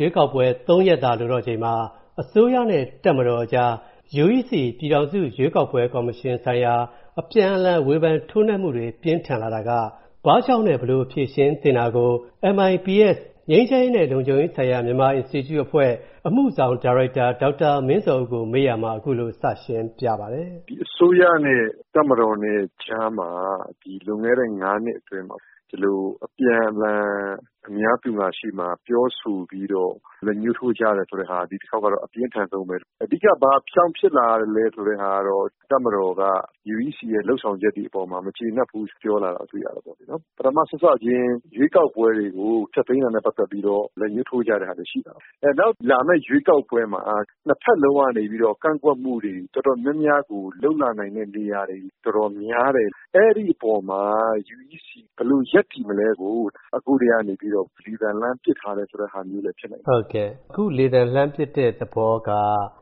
ရွေးကောက်ပွဲ ၃ ရက်သာလိုတော့ချိန်မှာ၊ အစိုးရနဲ့ တပ်မတော်အကြား UEC ပြည်ထောင်စုရွေးကောက်ပွဲကော်မရှင်ဆိုင်ရာ အပြန်အလှန် ဝေဖန်ထိုးနှက်မူတွေ ပြင်းထန်လာတာက ဘာကြောင့်နဲ့ ဘယ်လို ဖြေရှင်းသင့်တာကို၊ MIPS ငြိမ်းချမ်းရေးနဲ့လုံခြုံရေးဆိုင်ရာ မြန်မာ Institute အဖွဲ့ အမူဆောင်ဒါရိုက်တာ ဒေါက်တာမင်းဇော်ဦးကို ကိုဝင်းမင်းက မေးရာမှာ ခုလိုစရှင်းပြပါတယ် အစိုးရနဲ့ တပ်မတော်နဲ့ ကြားမှာ ဒီလွန်ခဲ့တဲ့ ၅ နှစ်အတွင်းမှာပေါ့နော် ။ ဒီလို အပြန်အလှန်အများရှေ့မှာ ပြောဆိုပြီးတော့ လက်ညှိးထိုးကြတယ်ဆိုတာကတော့ ဒီတခေါက်မှာ အပြင်းထန်ဆုံးပဲ။ အဓိက ဘာကြောင့်ဖြစ်လာသလဲဆိုတာကတော့ တပ်မတော်က UEC ရဲ့ လုပ်ဆောင်ချက်တွေအပေါ်မှာ မကြေနပ်ဘူးဆိုတာပြောလာတာ တွေ့ရတာပေါ့။ ပထမစစချင်း ရွေးကောက်ပွဲတွေကို ဖျက်သိမ်းတာနဲ့ ပတ်သက်ပြီးတော့ လက်ညှိးထိုးကြတာတွေရှိတာပေါ့နော်။ နောက်လာမယ့် ရွေးကောက်ပွဲမှာ ၂ ဖက်လုံးကနေပြီးတော့ ကန့်ကွက်မှုတွေ တော်တော်များများကို လုပ်လာနိုင်တဲ့နေရာတွေ တော်တော်များတယ်။ အဲဒီအပေါ်မှာ UEC ဘယ်လို ရပ်တည်မလဲဆိုတာကို အခုကတည်းကနေပြီးတော့ လေသံ လှမ်းပစ်ထားတယ်ဆိုတဲ့သဘောမျိုးလည်း ဖြစ်နိုင်တယ်။ အခု လေသံ လှမ်းပစ်တဲ့သဘောက